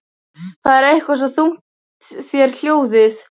Það er eitthvað svo þungt í þér hljóðið.